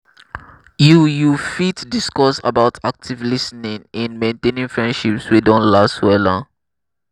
you you fit discuss about active lis ten ing in maintaining friendships wey don last wella.